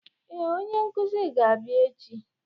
Ee, onye nkuzi ga-abịa echi.